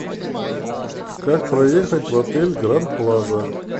как проехать в отель гранд плаза